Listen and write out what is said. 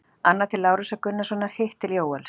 Annað til Lárusar Gunnarssonar, hitt til Jóels.